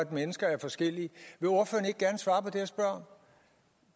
mennesker forskellige mennesker